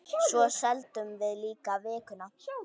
Svo seldum við líka Vikuna.